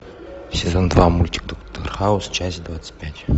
сезон два мультик доктор хаус часть двадцать пять